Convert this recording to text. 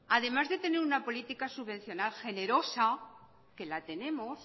además de tener una política subvencional generosa que la tenemos